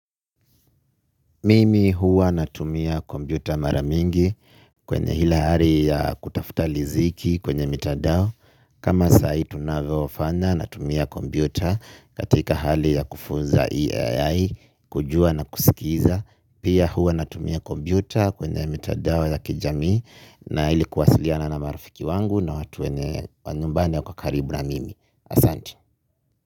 Mimi huwa natumia kompyuta mara mingi kwenye ile hali ya kutafuta riziki kwenye mitandao. Kama saa hii tunavyofanya natumia kompyuta katika hali ya kufunza Ai kujua na kusikiza. Pia huwa natumia kompyuta kwenye mitandao ya kijamii na ili kuwasiliana na marafiki wangu na watu wa nyumbani hapa karibu na mimi. Asante.